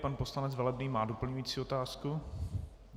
Pan poslanec Velebný má doplňující otázku?